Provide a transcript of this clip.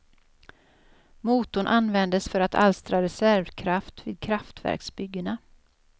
Motorn användes för att alstra reservkraft vid kraftverksbyggena.